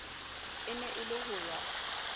e ne e le hoya